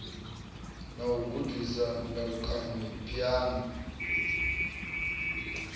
na u gudisa ndalukanyo phiano